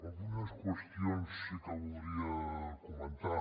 algunes qüestions sí que voldria comentar